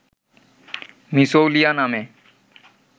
মিসোউলিয়া নামে